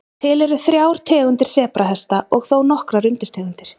Til eru þrjár tegundir sebrahesta og þó nokkrar undirtegundir.